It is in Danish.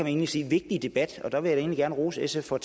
egentlig sige vigtige debat der vil jeg da gerne rose sf for at